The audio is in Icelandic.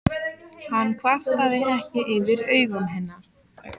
Hann kvartaði ekki yfir augum hennar.